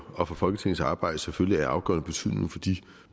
og for folketingets arbejde selvfølgelig er af afgørende betydning for de